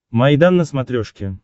майдан на смотрешке